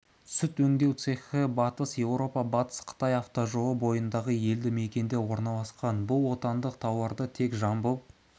сүт өңдеу цехі батыс еуропа-батыс қытай автожолы бойындағы елді мекенде орналасқан бұл отандық тауарды тек жамбыл